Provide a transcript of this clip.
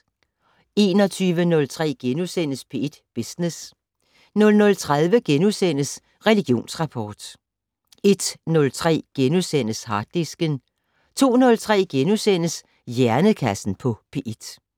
21:03: P1 Business * 00:30: Religionsrapport * 01:03: Harddisken * 02:03: Hjernekassen på P1 *